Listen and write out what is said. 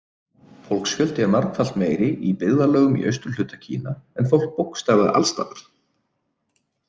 Fólksfjöldi er margfalt meiri Í byggðarlögum í austurhluta Kína er fólk bókstaflega alls staðar.